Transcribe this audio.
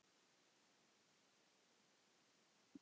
Ég hef fæðst víða.